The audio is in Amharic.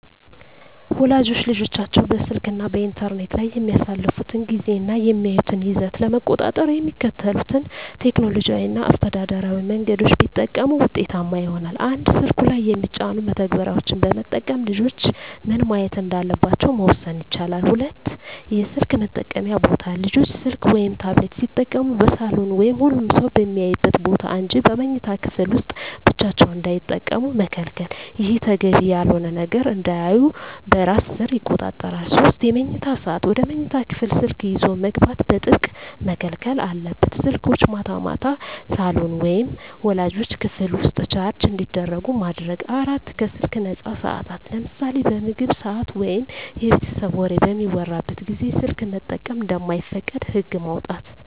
ወላጆች ልጆቻቸው በስልክ እና በኢንተርኔት ላይ የሚያሳልፉትን ጊዜ እና የሚያዩትን ይዘት ለመቆጣጠር የሚከተሉትን ቴክኖሎጂያዊ እና አስተዳደራዊ መንገዶች ቢጠቀሙ ውጤታማ ይሆናል፦ 1)ስልኩ ላይ የሚጫኑ መተግበሪያዎችን በመጠቀም ልጆች ምን ማየት እንዳለባቸው መወሰን ይቻላል። 2)የስልክ መጠቀምያ ቦታ: ልጆች ስልክ ወይም ታብሌት ሲጠቀሙ በሳሎን ወይም ሁሉም ሰው በሚያይበት ቦታ እንጂ በመኝታ ክፍል ውስጥ ብቻቸውን እንዳይጠቀሙ መከልከል። ይህ ተገቢ ያልሆነ ነገር እንዳያዩ በራስ ሰር ይቆጣጠራል። 3)የመኝታ ሰዓት: ወደ መኝታ ክፍል ስልክ ይዞ መግባት በጥብቅ መከልከል አለበት። ስልኮች ማታ ማታ ሳሎን ወይም ወላጆች ክፍል ውስጥ ቻርጅ እንዲደረጉ ማድረግ። 4)ከስልክ ነፃ ሰዓታት: ለምሳሌ በምግብ ሰዓት ወይም የቤተሰብ ወሬ በሚወራበት ጊዜ ስልክ መጠቀም እንደማይፈቀድ ህግ ማውጣት።